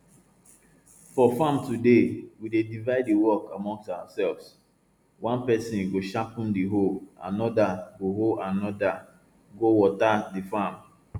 for farm today we dey divide di work among ourselves one person go sharpen di hoe anoda go hoe anoda go water di farm